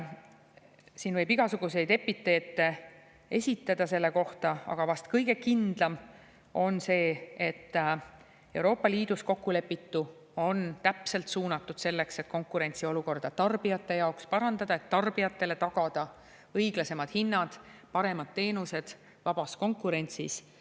Siin võib igasuguseid epiteete kasutada selle kohta, aga vast kõige kindlam on see, et Euroopa Liidus kokkulepitu on täpselt suunatud sellele, et konkurentsiolukorda tarbijate jaoks parandada, et tarbijatele tagada õiglasemad hinnad, paremad teenused vabas konkurentsis.